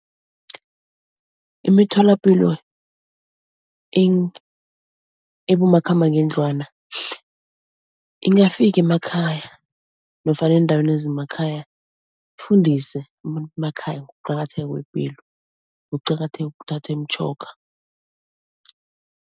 Imitholapilo ebomakhamba ngendlwana ingafika emakhaya nofana eendaweni zemakhaya, ifundise emakhaya ngokuqakatheka kwepilo, ngokuqakatheka kokuthatha imitjhoga.